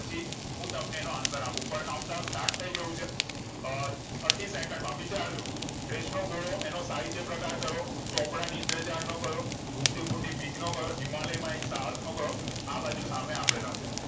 હું તમને એનો answer ઉપર count down start થઇગયું છે અ ત્રીસ સેકન્ડ માં વિચાર જો રેસ નો ઘોડો એનો સાહિત્યપ્રકાર કયો ચોપડા ની ઇન્દ્રજાળ નો કયો ભૂખ થી ભૂંડી બીક નો કયો હિમાલય માં એક સાહસ નો કયો આબાજુ સામે આપેલા છે